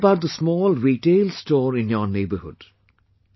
Think about the small retail store in your neighbourhood